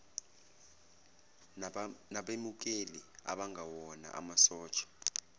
nabemukeli abangewona amasosha